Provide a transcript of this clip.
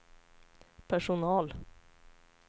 personal